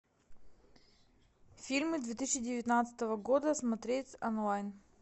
фильмы две тысячи девятнадцатого года смотреть онлайн